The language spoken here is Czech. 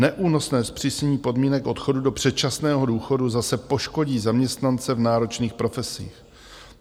Neúnosné zpřísnění podmínek odchodu do předčasného důchodu zase poškodí zaměstnance v náročných profesích.